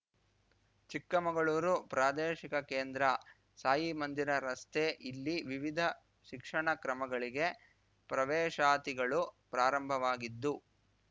ಚಿಕ್ಕಮಗಳೂರು ಪ್ರಾದೇಶಿಕ ಕೇಂದ್ರ ಸಾಯಿಮಂದಿರ ರಸ್ತೆ ಇಲ್ಲಿ ವಿವಿಧ ಶಿಕ್ಷಣ ಕ್ರಮಗಳಿಗೆ ಪ್ರವೇಶಾತಿಗಳು ಪ್ರಾರಂಭವಾಗಿದ್ದು